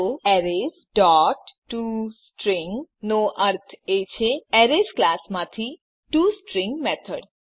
તો arrays dot to string નો અર્થ છે એરેઝ ક્લાસ માંથી ટોસ્ટ્રીંગ મેથડ